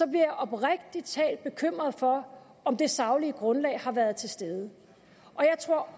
jeg oprigtig talt bekymret for om det saglige grundlag har været til stede og jeg tror